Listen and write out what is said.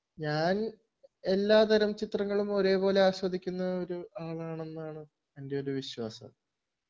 ഞാൻ എല്ലാ തരം ചിത്രങ്ങളും ഒരേപോലെ ആസ്വദിക്കുന്ന ഒരാളാണെന്നാണ് എൻ്റെ ഒരു വിശ്വാസം